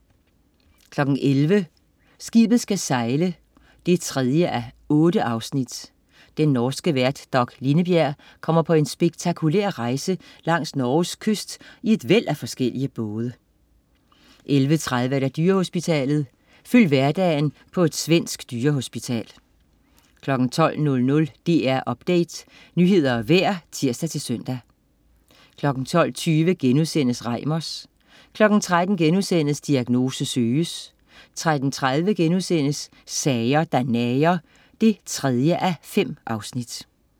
11.00 Skibet skal sejle 3:8. Den norske vært Dag Lindebjerg kommer på en spektakulær rejse langs Norges kyst i et væld af forskellige både 11.30 Dyrehospitalet. Følg hverdagen på et svensk dyrehospital 12.00 DR Update. Nyheder og vejr (tirs-søn) 12.20 Reimers* 13.00 Diagnose Søges* 13.30 Sager der nager 3:5*